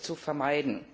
zu vermeiden.